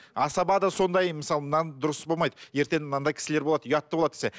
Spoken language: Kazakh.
асаба да сондай мысалы мынаны дұрыс болмайды ертең мынандай кісілер болады ұятты болады десе